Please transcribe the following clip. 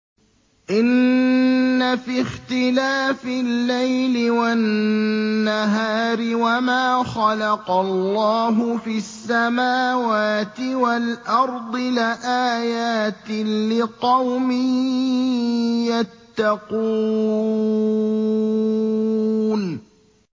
إِنَّ فِي اخْتِلَافِ اللَّيْلِ وَالنَّهَارِ وَمَا خَلَقَ اللَّهُ فِي السَّمَاوَاتِ وَالْأَرْضِ لَآيَاتٍ لِّقَوْمٍ يَتَّقُونَ